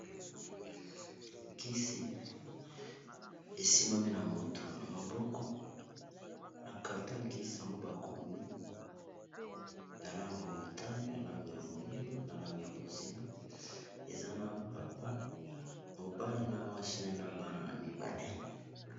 Nkisi esimbami na moto na maboko na carton ya nkisi yango bakomi na langi ya motane na langi ya moyindo na langi ya bonzinga eza na papa mobali na mwasi naye na bana mibale.